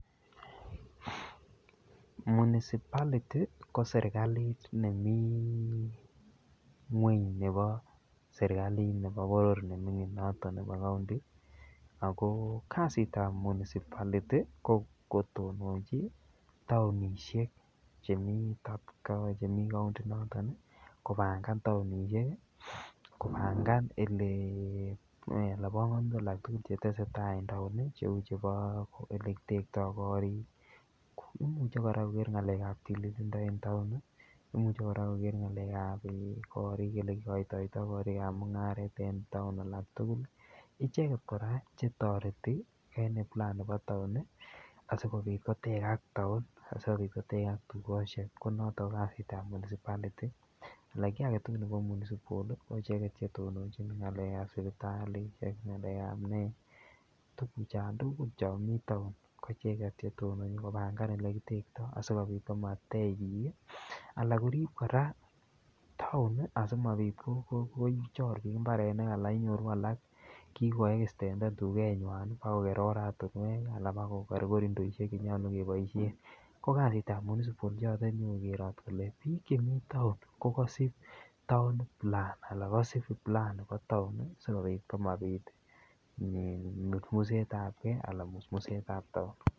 Municipalty ko serkalit nemi ng'weny nebo serkalit nebo boror nemi noton nebo county ago kasitab municipality ko kotononchi taonishek chemi county inoton, kobangan taonishek, kobangan bongonutik alak tugul che tesetai en taon, cheu chebo ole kitekto korik. Imuche kora koger ng'alekab tililindo en taon, imuche koger kora ng'alekab korik, koger ole kigotoito korik ab mung'aret en taon. Icheget kora chetoreti en plan nebo taon asikobit kotegag taon. Asikobit kotegeg tugushek. Ko noto ko kasitab municipality ole kiy age tugul nebo municipal ko icheget che tononchin. Ng'alekab sipitalishek, ng'alekab nee, tuguchan tugul chon mi taon koicheget che tononchin kbangan ole kitekto asikobit komatech biik ala korib kora taon asikobit komachor biik mbarenik. Ala inyoru alak kigoextenden tugenywan bagoker oratinwek ala bagoker korindoishek che nyolu keboishen. Ko kasitab municipal choton konyokokerot kole biik chemi taon ko koisib town plan anan kosib plan nebo taon sikobit komabit musmusetab ge anan musmussetab taon.